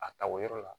A ta o yɔrɔ la